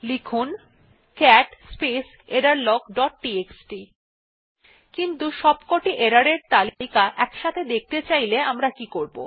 দেখুন cat space error log dot TXT কিন্তু সবকটি error এর তালিকা দেখতে চাইলে আমরা কি করবো